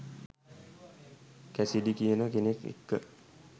Cassidy කියන කෙනෙක් එක්ක.